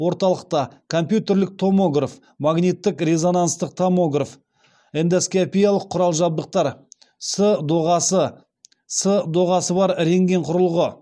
орталықта компьютерлік томограф магнитік резонанстық томограф эндоскопиялық құрал жабдықтар с доғасы с доғасы бар рентген құрылғы